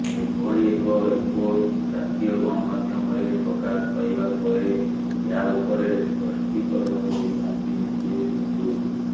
ଏଭଳି ଏକ ରିପୋର୍ଟ ଜାତୀୟ ଗଣମାଧ୍ୟମରେ ପ୍ରକାଶ ପାଇବା ପରେ ଏହା ଉପରେ ସ୍ପଷ୍ଟୀକରଣ ଦେଇଛନ୍ତି ନିଜେ ସିନ୍ଧୁ